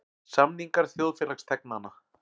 Samningar þjóðfélagsþegnanna.